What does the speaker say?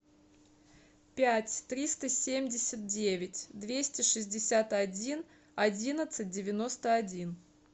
пять триста семьдесят девять двести шестьдесят один одиннадцать девяносто один